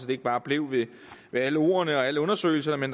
det ikke bare blev ved alle ordene og alle undersøgelserne